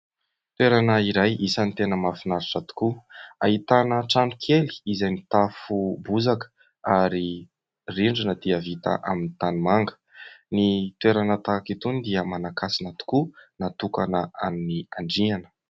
Toerana iray isan'ny tena mahafinaritra tokoa, ahitana tranokely izay mitafo bozaka ary ny rindrina dia vita amin'ny tanimanga. Ny toerana tahaka itony dia manankasina tokoa, natokana an'ny Andriana.